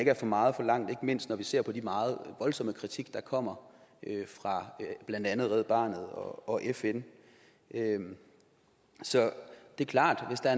er for meget forlangt ikke mindst når vi ser på den meget voldsomme kritik der kommer fra blandt andet red barnet og fn så det er klart at hvis der